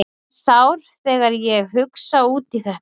Ég verð sár þegar ég hugsa út í þetta.